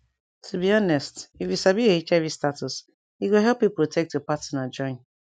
to be honest if you sabi your hiv status e go help you protect your partner join